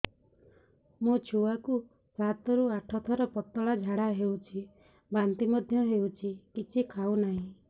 ମୋ ଛୁଆ କୁ ସାତ ରୁ ଆଠ ଥର ପତଳା ଝାଡା ହେଉଛି ବାନ୍ତି ମଧ୍ୟ୍ୟ ହେଉଛି କିଛି ଖାଉ ନାହିଁ